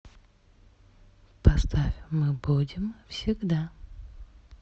поставь мы будем всегда